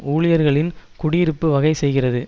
ஊழியர்களின் குடியிருப்பு வகை செய்கிறது